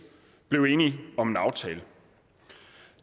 blev enig om en aftale